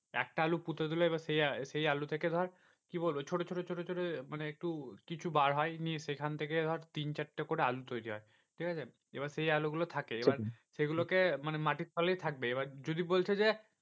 একটা আলু পুঁতে দিল এবার সে সেই আলু থেকে ধর কি বলবো ছোট ছোট ছোট ছোট মানে একটু কিছু বার হয় নি সেখান থেকে ধর তিন চারটে করে আলু তৈরী হয়। ঠিকাছে এবার সেই আলুগুলো থাকে এইবার সেগুলোকে মানে মাটির তলে থাকবে যদি বলছে যে